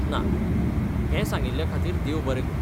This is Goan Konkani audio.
ना, हें सांगिल्ल्या खातीर देव बरों करूं.